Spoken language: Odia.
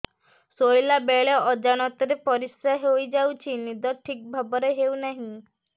ଶୋଇଲା ବେଳେ ଅଜାଣତରେ ପରିସ୍ରା ହୋଇଯାଉଛି ନିଦ ଠିକ ଭାବରେ ହେଉ ନାହିଁ